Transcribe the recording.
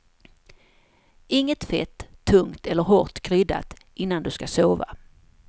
Inget fett, tungt eller hårt kryddat innan du ska sova.